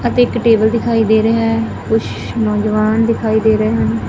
ਅਤੇ ਇੱਕ ਟੇਬਲ ਦਿਖਾਈ ਦੇ ਰਿਹਾਹੈ ਕੁਛ ਨੌਜਵਾਨ ਦਿਖਾਈ ਦੇ ਰਹੇ ਹਨ।